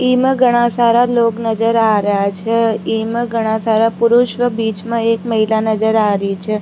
इमा घड़ा सारा लोग नजर आ रेहा छे इमा घड़ा सारा पुरुष व बीच में एक महिला नजर आ री छे।